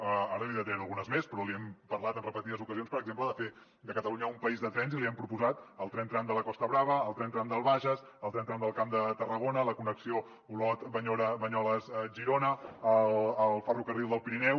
ara li’n detallaré algunes més però li hem parlat en repetides ocasions per exemple de fer de catalunya un país de trens i li hem proposat el tren tram de la costa brava el tren tram del bages el tren tram del camp de tarragona la connexió olot banyoles girona el ferrocarril del pirineu